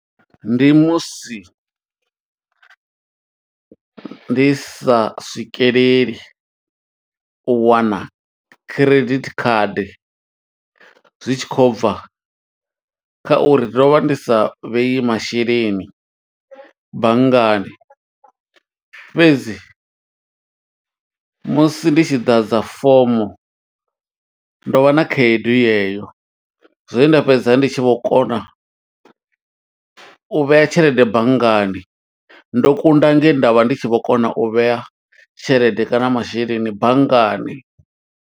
Ndi musi ndi sa swikeleli u wana credit card, zwi tshi khou bva kha uri ndo vha ndi sa vhei masheleni banngani. Fhedzi musi ndi tshi ḓadza fomo, ndo vha na khaedu ye yo. Zwe nda fhedza ndi tshi vho kona u vhea tshelede banngani. Ndo kunda nge nda vha ndi tshi vho kona u vhea tshelede kana masheleni banngani.